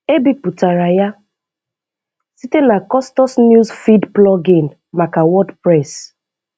E bipụtara ya site na Custos News Feed plugin maka WordPress.